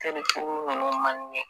Teli kurun nunnu man di ne ye